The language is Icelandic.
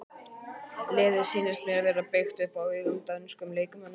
Liðið sýnist mér vera byggt upp á ungum dönskum leikmönnum.